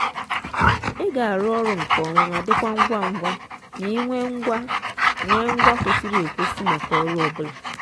ị ga-arụ ọrụ nke ọma ma dịkwa ngwa ngwa ma ị nwee ngwa nwee ngwa kwesịrị ekwesị maka ọrụ ọ bụla.